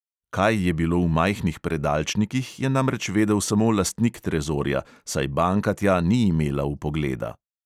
Kaj je bilo v majhnih predalčnikih, je namreč vedel samo lastnik trezorja, saj banka tja ni imela vpogleda.